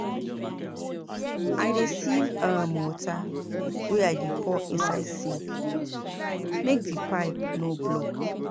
I dey sieve um water wey I dey pour inside sink make di pipe no block.